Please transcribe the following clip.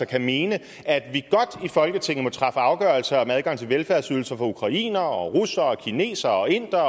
kan mene at vi i folketinget godt må træffe afgørelser om adgang til velfærdsydelser for ukrainere og russere og kinesere og indere